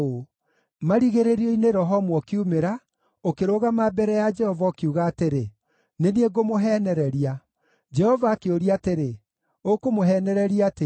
Marigĩrĩrio-inĩ, roho ũmwe ũkiumĩra, ũkĩrũgama mbere ya Jehova, ũkiuga atĩrĩ, ‘Nĩ niĩ ngũmũheenereria.’ “Jehova akĩũria atĩrĩ, ‘Ũkũmũheenereria atĩa?’